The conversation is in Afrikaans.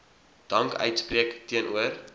dank uitspreek teenoor